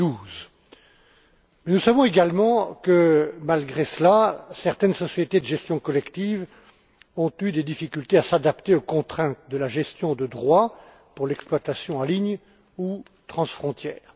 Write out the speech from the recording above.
2012. Néanmoins, nous savons également que, malgré cela, certaines sociétés de gestion collective ont eu des difficultés à s'adapter aux contraintes de la gestion de droits pour l'exploitation en ligne ou transfrontalière.